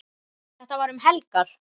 Þetta var um helgar.